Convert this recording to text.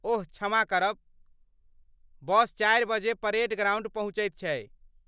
ओह क्षमा करब, बस चारि बजे परेड ग्राउण्ड पहुँचैत छै।